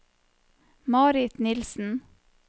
Marit Nilsen